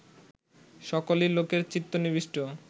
সকলেই লোকের চিত্ত নিবিষ্ট